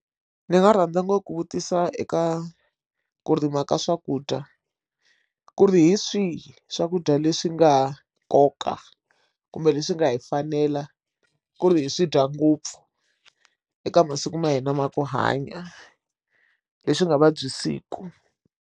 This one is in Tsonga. Ndzi nga rhandza ngopfu ku vutisa eka ku rima ka swakudya ku ri hi swihi swakudya leswi nga nkoka kumbe leswi nga hi fanela ku ri hi swi dya ngopfu eka masiku ma hina ma ku hanya leswi nga vabyisiku.